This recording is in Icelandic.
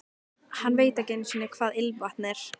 Hann veit ekki einu sinni hvað ilmvatn er.